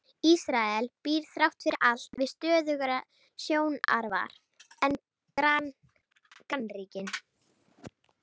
Ísrael býr þrátt fyrir allt við stöðugra stjórnarfar en grannríkin.